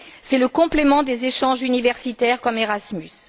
C'est le complément des échanges universitaires comme Erasmus.